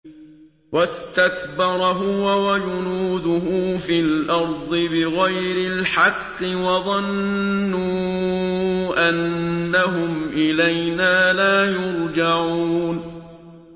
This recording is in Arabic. وَاسْتَكْبَرَ هُوَ وَجُنُودُهُ فِي الْأَرْضِ بِغَيْرِ الْحَقِّ وَظَنُّوا أَنَّهُمْ إِلَيْنَا لَا يُرْجَعُونَ